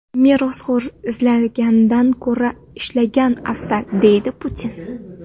Merosxo‘r izlagandan ko‘ra ishlagan afzal”, – deydi Putin.